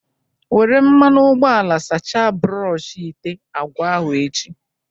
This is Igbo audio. Were mmanụ ụgbọala sacha brọshị ite agwa ahụ echi.